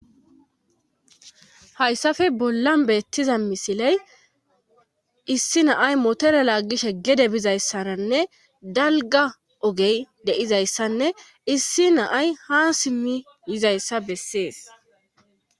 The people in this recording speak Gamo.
hayssafe bolla beettiza misiley issi naay motore laagishe gede bizayssaranne dalga ogey deizayssanne issi naay ha simmi yizayssa bessees